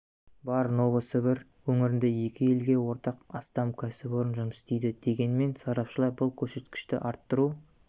бар новосібір өңірінде екі елге ортақ астам кәсіпорын жұмыс істейді дегенмен сарапшылар бұл көрсеткішті арттыру